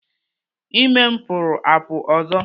Ime m pụrụ apụ ọzọ.